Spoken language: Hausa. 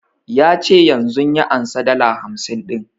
Ya ce yanzun ya ansa dala hamsin ɗin